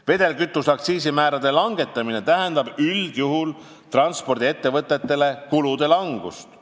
Vedelkütuse aktsiisi määrade langetamine tähendab transpordiettevõtetele üldjuhul kulude langust.